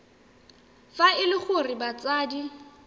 fa e le gore batsadi